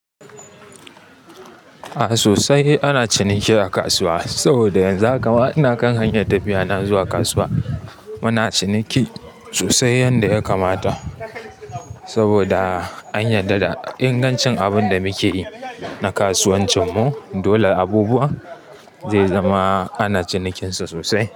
A sosai ana ciniki a kasuwa saboda yanzu haka ma ina kan hanya tafiya na zuwa kasuwa. Muna ciniki sosai yanda ya kamata saboda an yadda da ingancin abunda muke yi na kasuwancin mu. Dole abubuwan ze zama ana cinikin sa sosai.